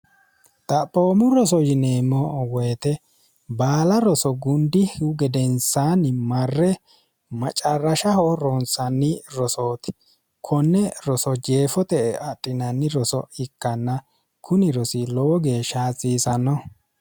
xaphoommo roso yineemmo woyite baala roso gundih gedensaanni marre maccarrashaho ronsanni rosooti konne roso jeefo te e axhinanni roso ikkanna kuni rosi lowo geeshsha hatsiisanno